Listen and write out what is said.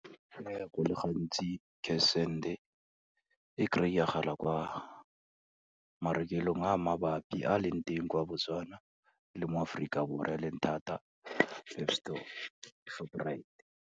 Go le gantsi cash send-e, e kry-agala kwa marekelong a mabapi a leng teng kwa Botswana le mo Aforika Borwa e leng thata, PEP Store, Shoprite.